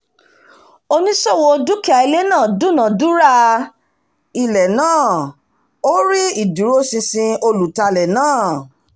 oníṣòwò dúkìá ilé náà dúnadúrà owó ilé náà ó rí ìdúróṣinṣin olùtalé náà